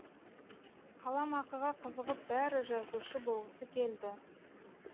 қаламақыға қызығып бәрі жазушы болғысы келді